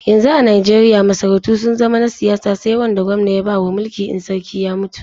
Yanzu a Najeriya masarautu sun zama na siyasa sai wanda gwamna ya bawa mulki in sarki ya mutu.